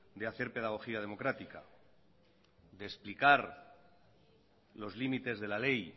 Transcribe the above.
de hacer pedagogía democrática de explicar los límites de la ley